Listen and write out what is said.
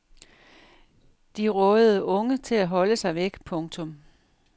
De rådede unge til at holde sig væk. punktum